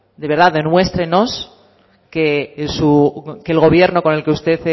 de verdad demuéstrenos que el gobierno con el que usted